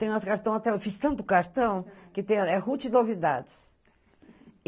Tem umas cartão até... Eu fiz tanto cartão que tem... É Ruth Novidados.